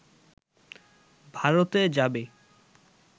ভারতে যাবে